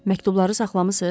Məktubları saxlamısız?